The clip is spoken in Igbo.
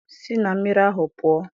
Si na mmiri ahụ pụọ!